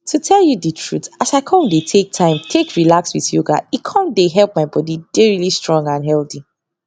to tell you truth as i com dey take time take relax with yoga e com dey help my body dey really stong and healthy